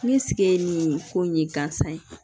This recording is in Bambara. Ne sigi ye nin ko in ye gansan ye